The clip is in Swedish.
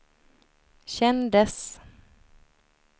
kändes